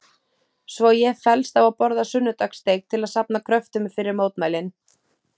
Svo ég fellst á að borða sunnudagssteik til að safna kröftum fyrir mótmælin.